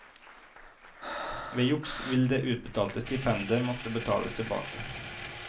Ved juks vil det utbetalte stipendet måtte betales tilbake.